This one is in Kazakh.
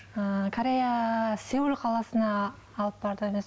ы корея сеул қаласына алып барды